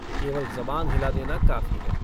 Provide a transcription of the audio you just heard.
केवल ज़बान हिला देना काफी है।